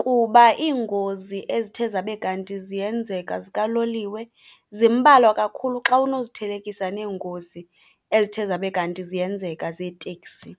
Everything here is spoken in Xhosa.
kuba iingozi ezithe zabe kanti ziyenzeka zikaloliwe zimbalwa kakhulu xa unozithelekisa neengozi ezithe zabe kanti ziyenzeka zeeteksi.